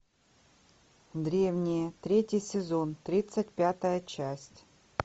древние третий сезон тридцать пятая часть